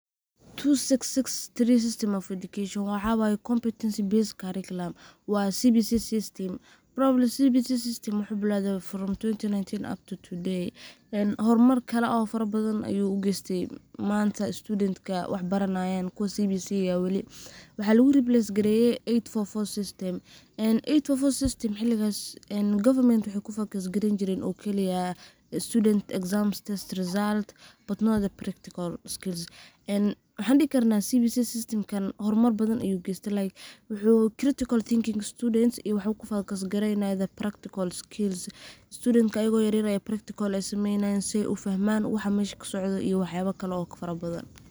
two six six three system of education waxa waye competency based curriculum ee hormarka wax badan bu u geyste manta studenka wax baranayan waxa lagu base gareye manhajka cusub govementa waxey focus gareyn jiren resulti iyo examki hormar badhan ayu geste like critical thinking ayu kene practical skills studenka ayago yaryar ay sumenayan iyo wax yala kalo fara badan.